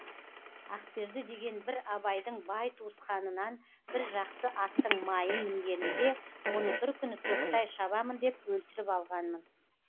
ақберді деген бір абайдың бай туысқанынан бір жақсы аттың майын мінгенімде оны бір күні тоқтай шабамын деп өлтіріп алғанмын